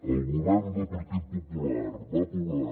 el govern del partit popular va aprovar